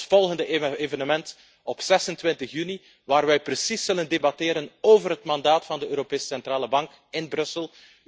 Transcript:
We hebben ons volgende evenement op 26 juni waar wij precies zullen debatteren over het mandaat van de Europese Centrale Bank, in Brussel.